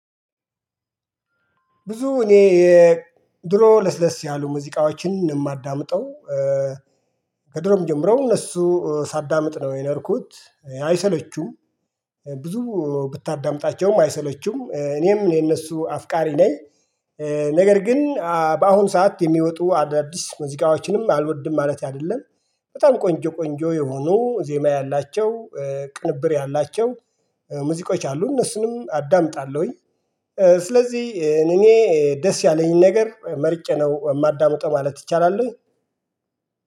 ብዙ እኔ የድሮ ለስለስ ያሉ ሙዚቃዎችን የማዳምጠው። ከድሮም ጀምረው እነሱ ሳዳምጥ ነው የኖርኩት አይሰለቹም። ብዙ ብታዳምጣቸውም አይሰለቹም እኔም የነሱ አፍቃሪ ነኝ። ነገር ግን በአሁን ሰዓት የሚወጡ አዳዲስ ሙዚቃዎችንም አልወድም ማለት አይደለም። በጣም ቆንጆ ቆንጆ የሆኑ ዜማ ያላቸው ቅንብር ያላቸው ሙዚቆች አሉ እነሱንም አዳምጣለሁኝ። ስለዚህ እኔ ደስ ያለኝን ነገር መርጨ ነው የማዳምጠው ማለት ይቻላል።